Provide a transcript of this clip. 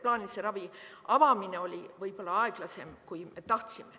Plaanilise ravi avamine oli võib-olla aeglasem, kui tahtsime.